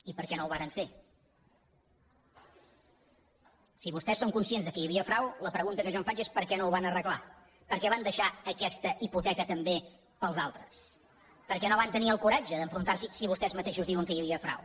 i per què no ho varen fer si vostès són conscients que hi havia frau la pregunta que jo em faig és per què no ho van arreglar per què van deixar aquesta hipoteca també per als altres per què no van tenir el coratge d’enfrontar s’hi si vostès mateixos diuen que hi havia frau